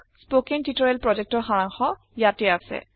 spoken tutorial প্ৰজেক্টৰ সাৰাংশ ইয়াতে আছে